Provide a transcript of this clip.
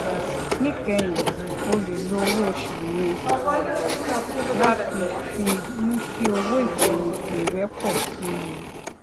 níkẹyìn o lè lo owó oṣù yẹn láti fi mú kí owó ìfèyìntì rẹ pò sí i